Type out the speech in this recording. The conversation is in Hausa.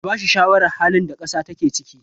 a bashi shawarar halin da kasa take ciki!